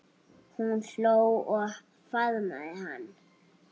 Hún hló og faðmaði hann.